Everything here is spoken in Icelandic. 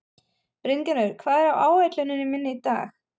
Bryngerður, hvað er á áætluninni minni í dag?